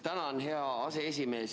Tänan, hea aseesimees!